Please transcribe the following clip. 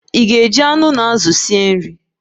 Ị ga-esi nri ma azụ ma anụ?